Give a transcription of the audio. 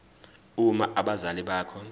uma abazali bakho